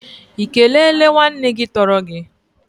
Ị kelele nwanne gị tọrọ gị?